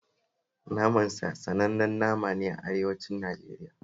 Naman sa sanannen nama ne a arewacin Najeriya